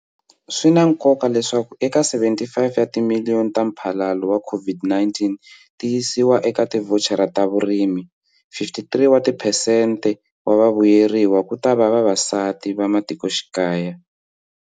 Swi na nkoka leswaku eka R75 timiliyoni ta mphalalo wa COVID-19 ti yisiwa eka tivhochara ta vurimi, 53 wa tiphesente wa vavuyeriwa kutava vavasati va matikoxikaya.